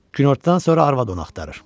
Günortadan sonra arvad onu axtarır.